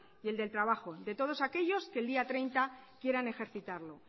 y el del trabajo de todos aquellos que el día treinta quieran ejercitarlo